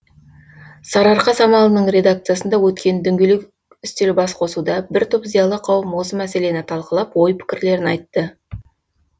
сарыарқа самалының редакциясында өткен дөңгелек үстел бас қосуда бір топ зиялы қауым осы мәселені талқылап ой пікірлерін айтты